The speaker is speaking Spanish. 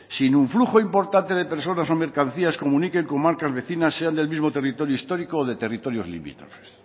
sin un flujo importante de personas o mercancías comuniquen comarcas vecinas sean del mismo territorio histórico o de territorios limítrofes